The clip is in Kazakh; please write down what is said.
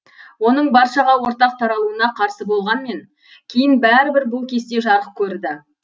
оның баршаға ортақ таралуына қарсы болғанмен кейін бәрібір бұл кесте жарық көрді